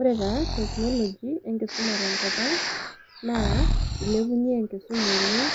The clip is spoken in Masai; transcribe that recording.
ore taa technology enkisuma tenkop ang naa ilepunyie enkisuma oleng